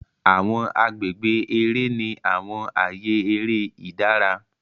Awọn agbègbè eré ní àwọn ààyè eré ìdára.